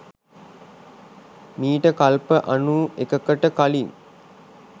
මීට කල්ප අනූ එකකට කලින්